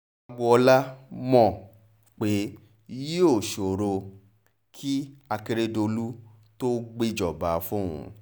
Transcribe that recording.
gbọọlá mọ̀ pé yíò ṣòro kí akérèdolù tó gbéjọba fóun